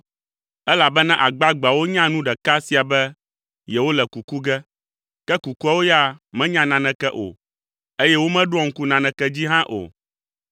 Elabena agbagbeawo nya nu ɖeka sia be yewole kuku ge ke kukuawo ya menya naneke o eye womeɖoa ŋku naneke dzi hã o.